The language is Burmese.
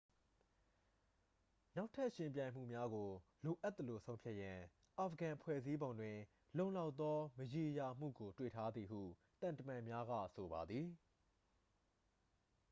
နောက်ထပ် ယှဉ်ပြိုင်မှုများကို လိုအပ်သလို ဆုံးဖြတ်ရန် အာဖဂန် ဖွဲ့စည်းပုံတွင် လုံလောက်သော မရေရာမှုကို တွေ့ထားသည်ဟု သံတမန်များက ဆိုပါသည်